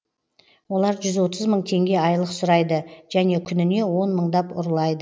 олар жүз отыз мың теңге айлық сұрайды және күніне он мыңдап ұрлайды